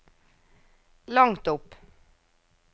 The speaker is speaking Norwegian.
langt opp